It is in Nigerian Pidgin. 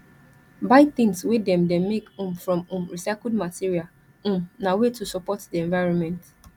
buy tins wey dem dem make um from um recycled material um na way to support di environment